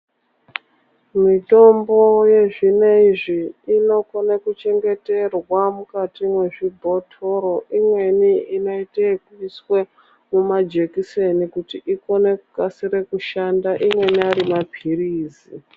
Mitombo yezvineizvi inokone kuchengeterwa mukati mwezvibhotoro, imweni inoite ekuiswe mumajekiseni ikone kukasire kushanda, imweni ari maphiritsi.